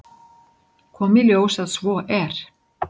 Kom í ljós að svo er.